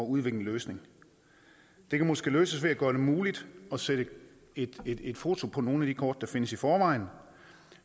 udvikle en løsning det kan måske løses ved at gøre det muligt at sætte et et foto på nogle af de kort der findes i forvejen